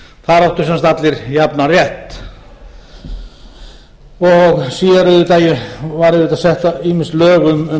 sem sagt allir jafnan rétt síðar voru auðvitað sett ýmis lög um